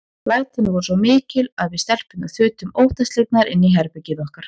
Lætin voru svo mikil að við stelpurnar þutum óttaslegnar inn í herbergið okkar.